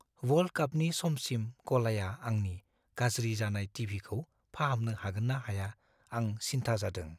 World कापनि समसिम गलाया आंनि गाज्रि जानाय टि. भि. खौ फाहामनो हागोन ना हाया, आं सिन्था जादों।